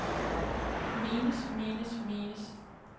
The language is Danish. menes menes menes